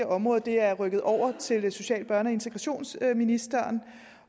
område er rykket over til social børne og integrationsministeren